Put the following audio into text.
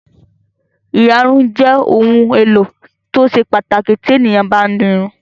Ìyarun jẹ́ ohun-èlò tó ṣe pàtàkì tí ènìyàn bá ń di irun.